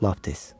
Lap tez.